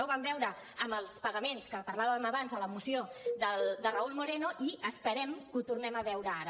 ho vam veure amb els pagaments que parlàvem abans en la moció de raúl moreno i esperem que ho tornem a veure ara